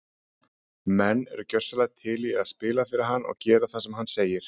Menn eru gjörsamlega til í að spila fyrir hann og gera það sem hann segir.